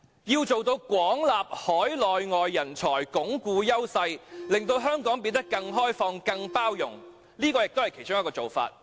要做到"廣納海內外人才"、"鞏固優勢"，以及"令香港變得更開放及更有包容性"，這是其中一個做法。